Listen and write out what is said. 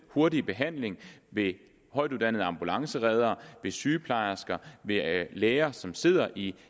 hurtig behandling af højtuddannede ambulancereddere sygeplejersker læger som sidder i